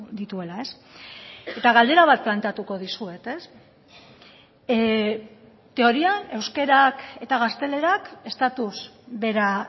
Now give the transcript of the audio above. dituela eta galdera bat planteatuko dizuet teorian euskarak eta gaztelerak estatuz bera